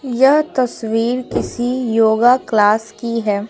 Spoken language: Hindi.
यह तस्वीर किसी योगा क्लास की है।